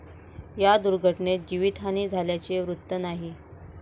या दुर्घटनेत जीवितहानी झाल्याचे वृत्त नाही.